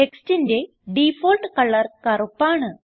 ടെക്സ്റ്റിന്റെ default colour കറുപ്പ് ആണ്